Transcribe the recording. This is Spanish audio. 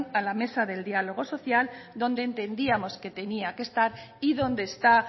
a la mesa del diálogo social donde entendíamos que tenía que estar y donde está